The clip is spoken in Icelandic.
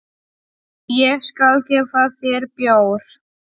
Ekki ég sagði Áslaug.